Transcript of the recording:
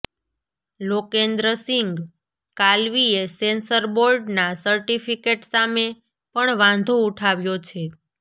લોકેન્દ્રસિંગ કાલવીએ સેન્સર બોર્ડના સર્ટિફિકેટ સામે પણ વાંધો ઉઠાવ્યો છે